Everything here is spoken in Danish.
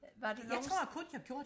var du nogensinde